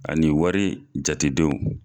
Ani wari jate denw.